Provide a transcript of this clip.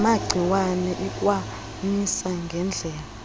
namagciwane ikwamisa ngedlela